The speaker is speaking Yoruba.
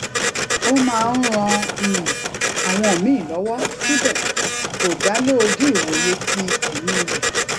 ó máa ń ran um àwọn míì lówó síbè kò dale oju iwoye ti emi re